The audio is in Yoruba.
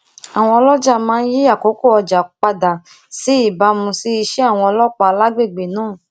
àwọn oloja máa ń yí àkókò ọjà padà ní ìbámu si ise awon ọlópàá lágbègbè náà